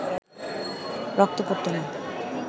রক্ত পড়ত না